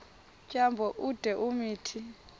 tyambo ude umthi